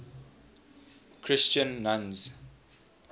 christian nuns